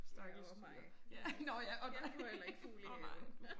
Ja og mig. Jeg får heller ikke fugle i haven